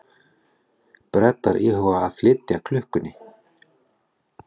Bretar íhuga að flýta klukkunni